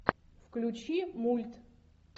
включи мульт